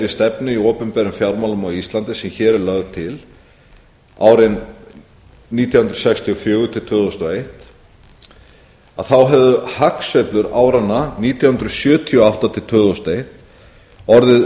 í opinberum fjármálum á íslandi sem hér er lögð til árin nítján hundruð sextíu og fjögur til tvö þúsund og eitt hefðu hagsveiflur áranna nítján hundruð sjötíu og átta til tvö þúsund og eitt orðið um þriðjungi